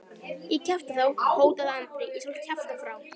Ég kjafta þá, hótaði Andri, ég skal þá kjafta frá.